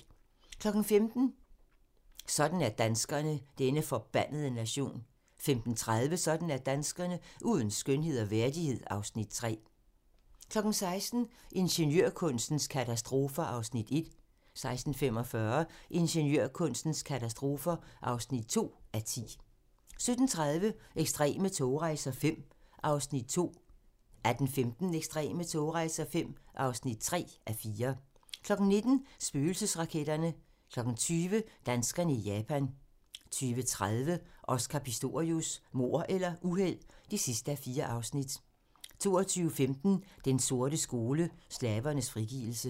15:00: Sådan er danskerne: Denne forbandede nation 15:30: Sådan er danskerne: Uden skønhed og værdighed (Afs. 3) 16:00: Ingeniørkunstens katastrofer (1:10) 16:45: Ingeniørkunstens katastrofer (2:10) 17:30: Ekstreme togrejser V (2:4) 18:15: Ekstreme togrejser V (3:4) 19:00: Spøgelsesraketterne 20:00: Danskerne i Japan 20:30: Oscar Pistorius: Mord eller uheld? (4:4) 22:15: Den sorte skole: Slavernes frigivelse